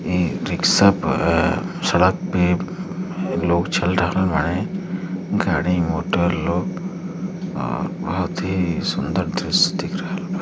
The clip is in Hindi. इ रिक्शा पर सड़क पे लोग चल रहे हैं। गाड़ी मोटर लोग अ बहुत ही सुंदर दृश्य दिख रहल बा।